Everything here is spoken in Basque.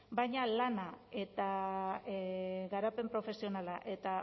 baina lana eta garapen profesionala eta